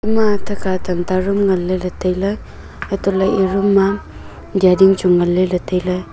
ema athe kha tam ta room nganley tailey anto ley e room ma dyading chu ngan ley ley tailey.